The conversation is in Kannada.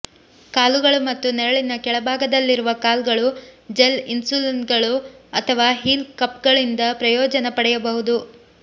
ಕಾಲುಗಳು ಮತ್ತು ನೆರಳಿನ ಕೆಳಭಾಗದಲ್ಲಿರುವ ಕಾಲ್ಗಳು ಜೆಲ್ ಇನ್ಸೊಲ್ಗಳು ಅಥವಾ ಹೀಲ್ ಕಪ್ಗಳಿಂದ ಪ್ರಯೋಜನ ಪಡೆಯಬಹುದು